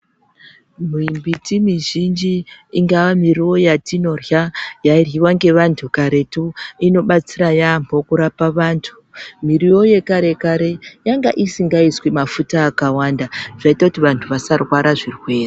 Miti mizhinji ingaaa miriwo yatinorya ,yairyiwa ngevantu karetu inobatsira yaambo kurapa vantu . Miriwo yekare kare yanga isingaiswi mafuta akawanda zvoita kuti vantu vasarwara zvirwere.